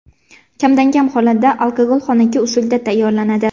Kamdan-kam hollarda alkogol xonaki usulda tayyorlanadi.